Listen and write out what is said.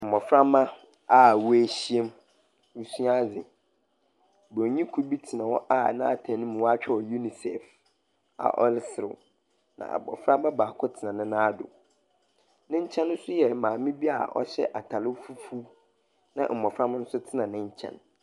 Mboframba a woehyia mu resua adze. Bronyi kor tw hɔ a n'atar mu, wɔakyerɛw UNICEF a ɔreserew. Na abofraba baako tsena ne nan do. Ne nkyɛn nso yɛ maame bi a ɔhyɛ atar fufuw, na mbofrmba nso tsena ne nkyɛn.